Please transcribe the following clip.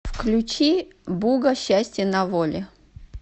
включи буга счастье на воле